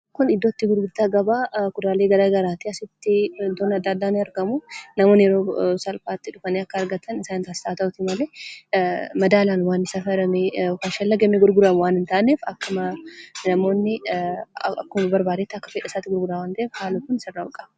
Kun iddootti gurgurtaa gabaa kuduraalee garaa garaati. Asitti wantoonni adda addaa ni argamu. Namoonni yeroo salphaatti dhufanii akka argatan isaan taasisa. Haa ta'uuti malee, madaalaan waanti safaramee shallagamee gurgaramu waan hin taaneef, akkuma namoonni akkuma barbaadetti, akka fedha isaatiitti gurgura waan ta'eef, haalli kun sirraa'uu qaba.